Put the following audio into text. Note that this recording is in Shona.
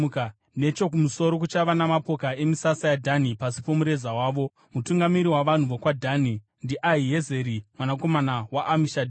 Nechokumusoro kuchava namapoka emisasa yaDhani, pasi pomureza wavo. Mutungamiri wavanhu vokwaDhani ndiAhiezeri mwanakomana waAmishadhai.